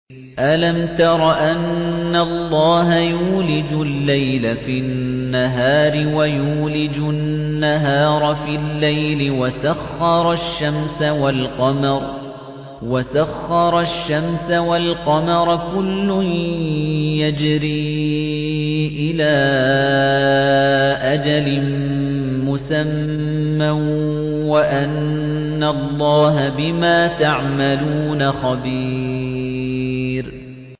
أَلَمْ تَرَ أَنَّ اللَّهَ يُولِجُ اللَّيْلَ فِي النَّهَارِ وَيُولِجُ النَّهَارَ فِي اللَّيْلِ وَسَخَّرَ الشَّمْسَ وَالْقَمَرَ كُلٌّ يَجْرِي إِلَىٰ أَجَلٍ مُّسَمًّى وَأَنَّ اللَّهَ بِمَا تَعْمَلُونَ خَبِيرٌ